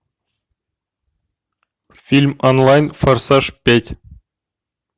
фильм онлайн форсаж пять